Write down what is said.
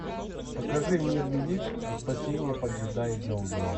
покажи мир велик а спасение поджидает за углом